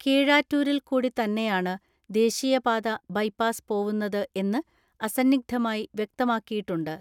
കീഴാറ്റൂരിൽക്കൂടിത്തന്നെയാണ് ദേശീയപാത ബൈപാസ് പോവുന്നത് എന്ന് അസന്നിഗ്ധമായി വ്യക്തമാക്കിയിട്ടുണ്ട്.